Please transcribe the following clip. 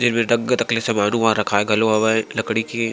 एमेर दगगत अक ले समान ह रखाए हवय लड़की के--